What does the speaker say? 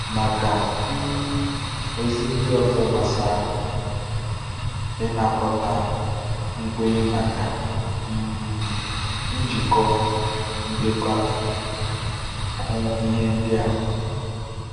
Maka um ozi ndị ọzọ gbasara ịnakọta nkwenye maka um njikọ ndekọ, hụ ihe ndị a.